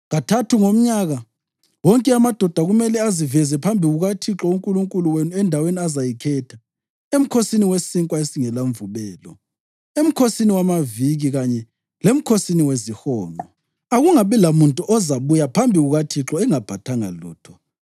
Kathathu ngomnyaka, wonke amadoda kumele aziveze phambi kukaThixo uNkulunkulu wenu endaweni azayikhetha, eMkhosini weSinkwa esingelaMvubelo, eMkhosini wamaViki kanye leMkhosini weziHonqo. Akungabi lamuntu ozabuya phambi kukaThixo engaphathanga lutho: